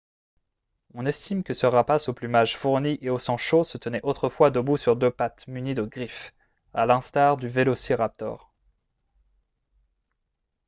on estime que ce rapace au plumage fourni et au sang chaud se tenait autrefois debout sur deux pattes munies de griffes à l'instar du vélociraptor